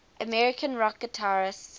american rock guitarists